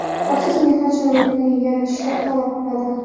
xavfsiz mehnat sharoitini yaratishni talab qiladi.